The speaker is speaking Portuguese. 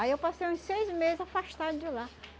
Aí eu passei uns seis meses afastada de lá.